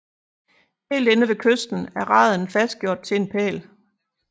Helt inde ved kysten er raden fastgjort til en pæl